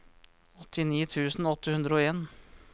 åttini tusen åtte hundre og en